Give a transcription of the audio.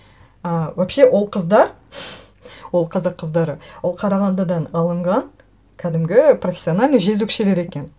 ы вообще ол қыздар ол қазақ қыздары ол қарағандыдан алынған кәдімгі профессиональный жезөкшелер екен